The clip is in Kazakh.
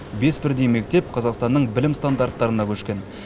бес бірдей мектеп қазақстанның білім стандарттарына көшкен